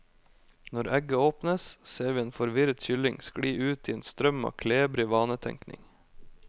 Når egget åpnes, ser vi en forvirret kylling skli ut i en strøm av klebrig vanetenkning.